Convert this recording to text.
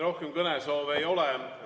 Rohkem kõnesoove ei ole.